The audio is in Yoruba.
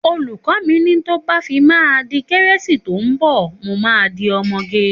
Òlúkò mi ni tọ bà fímà dí kẹrẹsi tọ mbọ mò ma dí ọmọgẹ.